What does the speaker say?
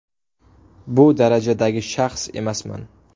Bu darajadagi shaxs emasman.